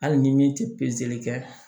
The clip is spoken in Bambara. Hali ni min tɛ pezeli kɛ